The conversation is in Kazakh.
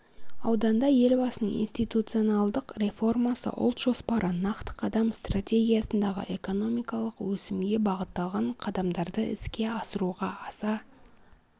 ауданда елбасының институционалдық реформасы ұлт жоспары нақты қадам стратегиясындағы экономикалық өсімге бағытталған қадамдарды іске асыруға аса